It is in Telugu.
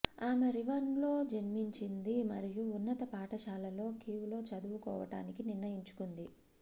ఆమె రివన్లో జన్మించింది మరియు ఉన్నత పాఠశాలలో కీవ్ లో చదువుకోవటానికి నిర్ణయించుకుంది